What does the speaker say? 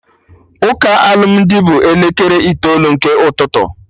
Ụka alụmdi bụ na elekere itoolu nke ụtụtụ